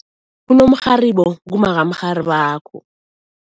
Unomrharibo ngumma kamrharibakho.